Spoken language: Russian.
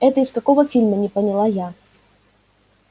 это из какого фильма не поняла я